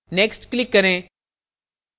next click करें